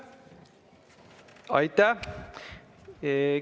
Aitäh!